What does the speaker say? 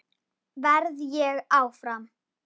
Verð ég áfram?